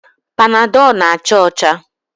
Panadọl na-acha ọcha.